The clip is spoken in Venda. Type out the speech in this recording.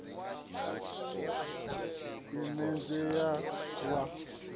milenzhe i a leluwa wa